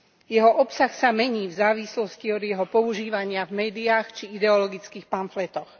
Jeho obsah sa mení v závislosti od jeho používania v médiách či ideologických pamfletoch.